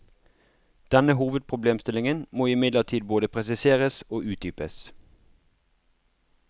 Denne hovedproblemstillingen må imidlertid både presiseres og utdypes.